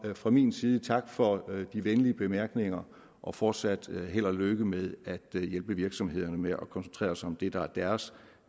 fra min side tak for de venlige bemærkninger og fortsat held og lykke med at hjælpe virksomhederne med at koncentrere sig om det der er deres